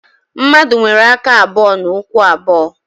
Mmadụ nwere aka abụọ na ụkwụ abụọ